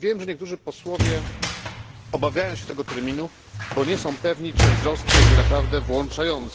Wiem, że niektórzy posłowie obawiają się tego terminu, bo nie są pewni, czy wzrost będzie naprawdę włączający.